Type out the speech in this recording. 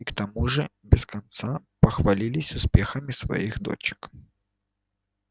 и к тому же без конца похвалились успехами своих дочек